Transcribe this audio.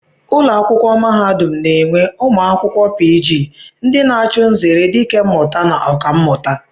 Ụlọakwụkwọ mahadum na-enwe ụmụ akwụkwọ pii jii ndị na-achụ nzere dikemmụta na Ọkammụta